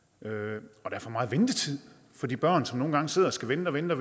og der er for meget ventetid for de børn som nogle gange sidder og skal vente og vente